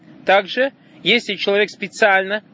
также если человек специально